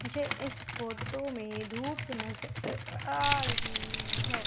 मुझे इस फोटो में धूप नजर आ रही है।